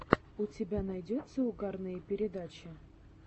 у тебя найдется угарные передачи